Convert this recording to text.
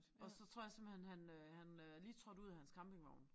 Og så tror jeg simpelthen han øh han øh lige trådt ud af hans campingvogn